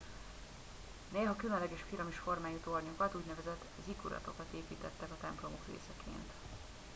néha különleges piramis formájú tornyokat úgynevezett zikkuratokat építettek a templomok részeként